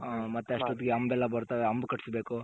ಹ್ಮ್ ಮತ್ತೆ ಅಷ್ಟೊತ್ಕೆ ಹಂಬ್ ಎಲ್ಲ ಬರ್ತದೆ ಹಂಬ್ ಕಟ್ಸ್ ಬೇಕು.